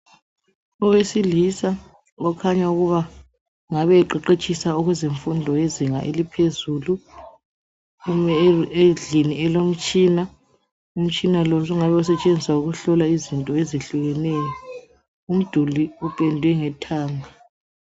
Owesilisa okhanya ukuba ngabe qeqetshisa kumfundo yezinga elingaphezulu ume endlini elomtshina. Umtshina lo sungasetshenziswa ukuhlola izinto ezitshiyeneyo. Umduli upendwe ngethanga.